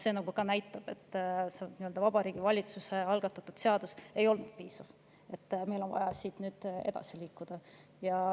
See näitab, et Vabariigi Valitsuse algatatud seadus ei olnud piisav ja meil on vaja siit nüüd edasi liikuda.